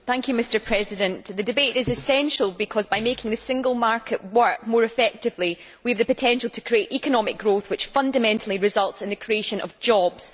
Mr President, the debate is essential because by making the Single Market work more effectively, we have the potential to create economic growth, which fundamentally results in the creation of jobs.